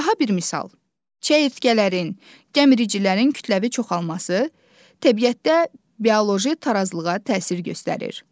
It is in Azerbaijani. Daha bir misal: Çəyirtkələrin, gəmiricilərin kütləvi çoxalması təbiətdə bioloji tarazlığa təsir göstərir.